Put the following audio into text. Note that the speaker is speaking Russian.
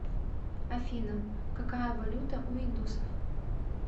афина какая валюта у индусов